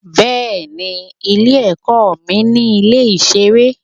Bẹ́ẹ̀ni, ilé-ẹ̀kọ́ mi ní ilé ìṣeré.